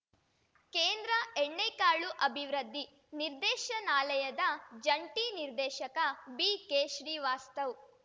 ಕೇಂದ್ರ ಎಣ್ಣೆಕಾಳು ಅಭಿವೃದ್ಧಿ ನಿರ್ದೇಶನಾಲಯದ ಜಂಟಿ ನಿರ್ದೇಶಕ ಬಿಕೆಶ್ರೀವಾಸ್ತವ್‌